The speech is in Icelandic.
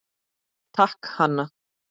Takk, Hanna.